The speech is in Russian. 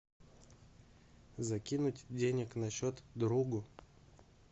закинуть денег на счет другу